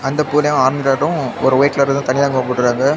இந்த பூவுலியே ஆங்கரும் ஒரு வைட் கலர்ல ஏதோ தனிய தொங்க போட்டு இருக்காங்க.